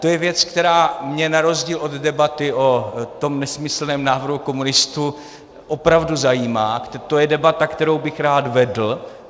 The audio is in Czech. To je věc, která mě na rozdíl od debaty o tom nesmyslném návrhu komunistů opravdu zajímá, to je debata, kterou bych rád vedl.